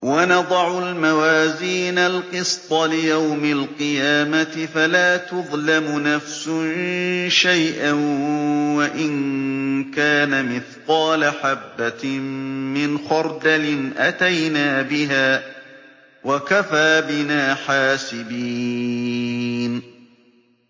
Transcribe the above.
وَنَضَعُ الْمَوَازِينَ الْقِسْطَ لِيَوْمِ الْقِيَامَةِ فَلَا تُظْلَمُ نَفْسٌ شَيْئًا ۖ وَإِن كَانَ مِثْقَالَ حَبَّةٍ مِّنْ خَرْدَلٍ أَتَيْنَا بِهَا ۗ وَكَفَىٰ بِنَا حَاسِبِينَ